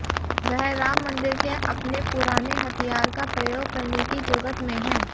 वह राम मंदिर के अपने पुराने हथियार का प्रयोग करने की जुगत में है